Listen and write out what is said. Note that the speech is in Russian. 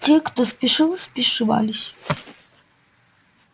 те кто спешил спешивались